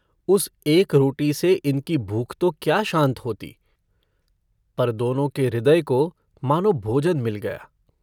उस एक रोटी से इनकी भूख तो क्या शान्त होती पर दोनों के हृदय की मानो भोजन मिल गया।